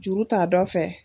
Juru ta dɔ fɛ.